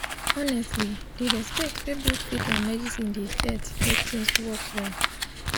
honestly di respect wey both faith and medicine get dey mek things work well